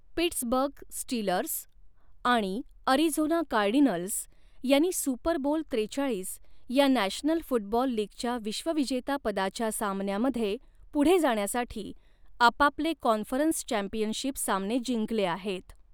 Pittsburgh Steelers आणि Arizona Cardinals यांनी Super Bowl त्रेचाळीस या नॅशनल फुटबॉल लीगच्या विश्वविजेतापदाच्या सामन्यामध्ये पुढे जाण्यासाठी आपापले कॉन्फरन्स चॅम्पियनशिप सामने जिंकले आहेत.